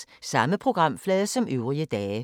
Samme programflade som øvrige dage